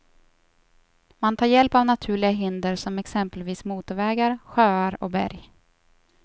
Man tar hjälp av naturliga hinder som exempelvis motorvägar, sjöar och berg.